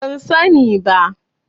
Ban sani ba.